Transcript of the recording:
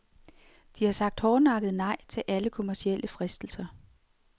De har sagt hårdnakket nej til alle kommercielle fristelser.